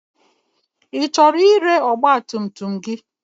Ị chọrọ ire ọgba tum tum gị?